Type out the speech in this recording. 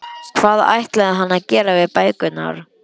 Hvað ætlaði hann að gera við bækurnar?